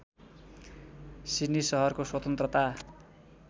Sydney सहरको स्वतन्त्रता